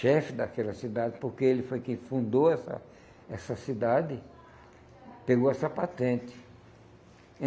chefe daquela cidade, porque ele foi quem fundou essa essa cidade, pegou essa patente.